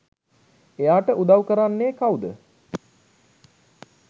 එයාට උදව් කරන්නේ කවුද?